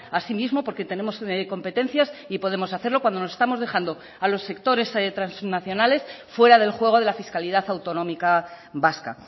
así mismo porque tenemos competencias y podemos hacerlo cuando nos estamos dejando a los sectores transnacionales fuera del juego de la fiscalidad autonómica vasca